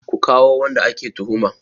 Ku kawo wanda ake tuhuma!